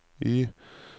Y